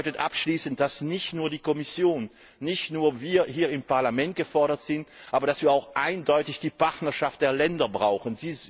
Und das bedeutet abschließend, dass nicht nur die Kommission, nicht nur wir hier im Parlament gefordert sind, sondern dass wir auch eindeutig die Partnerschaft der Länder brauchen.